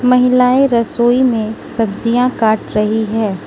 महिलाएं रसोई में सब्जियां काट रही है।